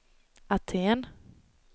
Aten